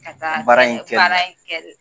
Ka taa ;Baara in kɛlila Baara in kɛlila